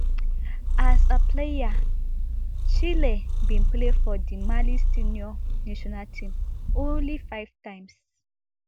as a player chelle bin play for di mali senior national team only five times